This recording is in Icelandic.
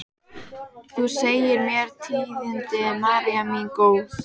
Þú segir mér tíðindin, María mín góð.